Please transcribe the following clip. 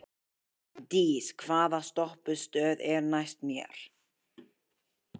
Magndís, hvaða stoppistöð er næst mér?